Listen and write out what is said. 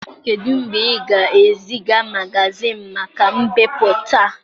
Kedu mgbe ị ga-eziga magazịịnị maka mbipụta.